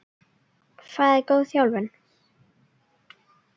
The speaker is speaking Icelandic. Hvað er góð þjálfun?